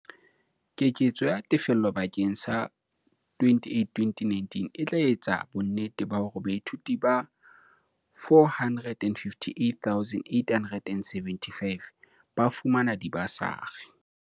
Keketso ya tefello bakeng sa 2018-19 e tla etsa bonnete ba hore baithuti ba 458 875 ba fumana dibasari.